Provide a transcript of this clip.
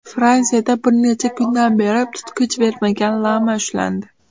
Fransiyada bir necha kundan beri tutqich bermagan lama ushlandi.